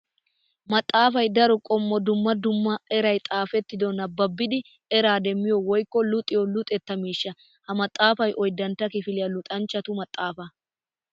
Maxafay daro qommo dumma dumma eray xaafetiddo nababbiddi era demmiyo woykko luxiyo luxetta miishsha. Ha maxafay oyddantta kifiliya luxanchchattu maxafa.